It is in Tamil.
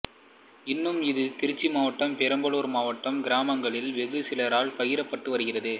இன்றும் இது திருச்சிமாவட்டம் பெரம்பலூர் மாவட்ட கிராமங்களில் வெகு சிலரால் பயிரடப்படுகிறது